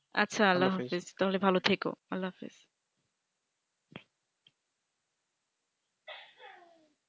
আচ্ছা আল্লাহাফিজ তাহলে ভালো থেকো